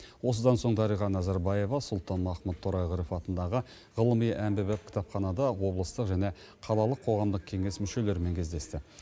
осыдан соң дариға назарбаева сұлтанмахмұт торайғыров атындағы ғылыми әмбебап кітапханада облыстық және қалалық қоғамдық кеңес мүшелерімен кездесті